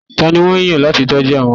tani won yan lati tọju àwọn arọ